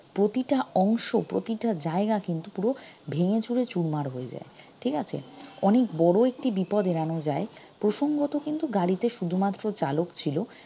প্রতিটা অংশ প্রতিটা জায়গা কিন্তু পুরো ভেঙেচুরে চুরমার হয়ে যায় ঠিক আছে অনেক বড় একটি বিপদ এড়ানো যায় প্রসঙ্গত কিন্তু গাড়িতে শুধুমাত্র চালক ছিল